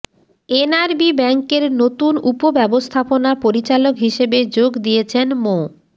NRB ব্যাংকের নতুন উপব্যবস্থাপনা পরিচালক হিসেবে যোগ দিয়েছেন মো